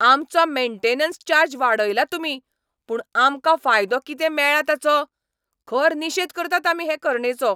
आमचो maintenance charge वाडयला तुमी, पूण आमकां फायदो कितें मेळ्ळा ताचो? खर निशेद करतात आमी हे करणेचो!